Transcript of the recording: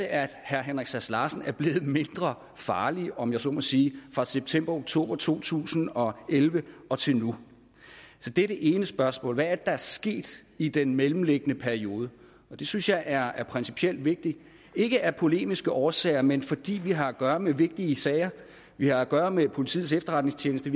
er herre henrik sass larsen blevet mindre farlig om jeg så må sige fra september oktober to tusind og elleve og til nu det er det ene spørgsmål hvad er det der er sket i den mellemliggende periode det synes jeg er principielt vigtigt ikke af polemiske årsager men fordi vi har at gøre med vigtige sager vi har at gøre med politiets efterretningstjeneste